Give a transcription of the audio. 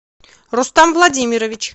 рустам владимирович